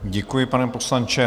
Děkuji, pane poslanče.